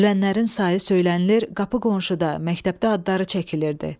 Ölənlərin sayı söylənilir, qapı qonşuda, məktəbdə adları çəkilirdi.